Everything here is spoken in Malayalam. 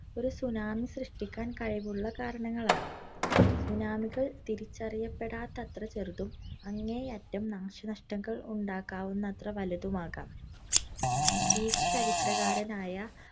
ഒരു tsunami സൃഷ്ടിക്കാൻ കഴിവുള്ള കാരണങ്ങളാണ്. tsunami കള്‍ തിരിച്ചറിയപ്പെടാത്തത്ര ചെറുതും, അങ്ങേയറ്റം നാശനഷ്ടങ്ങൾ ഉണ്ടാക്കാവുന്നത്ര വലുതും ആകാം. ഗ്രീക്ക് ചരിത്രകാരനായ